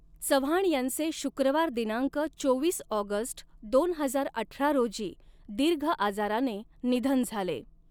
चव्हाण यांचे शुक्रवार दिनांक चोवीस ऑगस्ट दोन हजार अठरा रोजी दीर्घ आजाराने निधन झाले.